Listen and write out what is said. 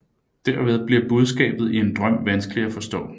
Derved bliver budskabet i en drøm vanskelig at forstå